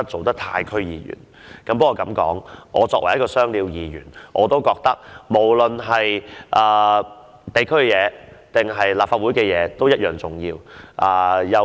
但是，我作為一名"雙料"議員，認為無論地區還是立法會的工作均同樣重要。